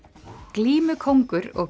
glímukóngur og